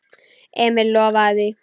Emil lofaði því.